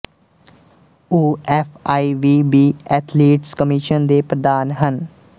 ਉਹ F I V B athletes commission ਦੇ ਪ੍ਰਧਾਨ ਹਨ